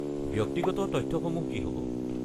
ব্যক্তিগত তথ্যসমূহ কি হ'ব?